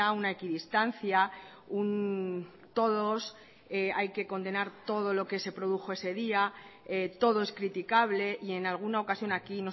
una equidistancia un todos hay que condenar todo lo que se produjo ese día todo es criticable y en alguna ocasión aquí